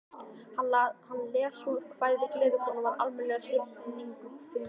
Hann les svo kvæðið Gleðikonan við almenna hrifningu fundarmanna.